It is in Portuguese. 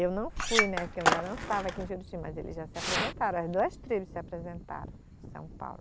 Eu não fui, né, que eu ainda não estava aqui em Juruti, mas eles já se apresentaram, as duas tribos se apresentaram em São Paulo.